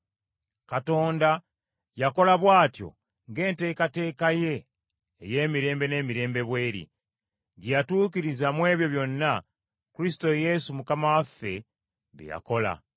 Katonda yakola bw’atyo ng’enteekateeka ye ey’emirembe n’emirembe bw’eri, gye yatuukiriza mu ebyo byonna Kristo Yesu Mukama waffe bye yakola.